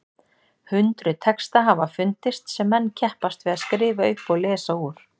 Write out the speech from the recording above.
Hundruð texta hafa fundist sem menn keppast við að skrifa upp og lesa úr.